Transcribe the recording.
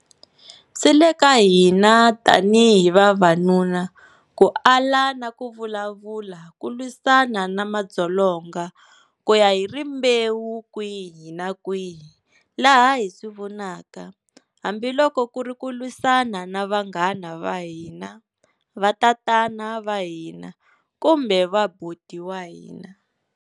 Swi le ka hina tanihi vavanuna ku ala na ku vulavula ku lwisana na madzolonga ku ya hi rimbewu kwihi na kwihi laha hi swi vonaka, hambi loko ku ri ku lwisana na vanghana va hina, vatatana va hina kumbe vaboti wa hina.